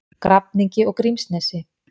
Grafningi og Grímsnesi.